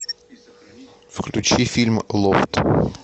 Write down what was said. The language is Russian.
включи фильм лофт